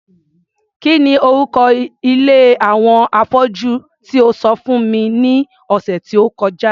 Kí ni orúko ilé àwọn afọ́jú tí e sọ fún mi ní ọ̀sẹ̀ tó kọjá?